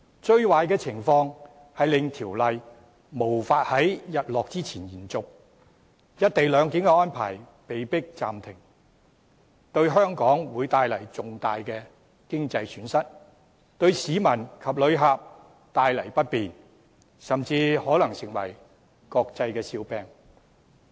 最壞的情況是條例無法在"日落"之前延續，令"一地兩檢"安排被迫暫停，為香港帶來重大的經濟損失，亦為市民及旅客帶來不便，甚至可能成為國際笑話。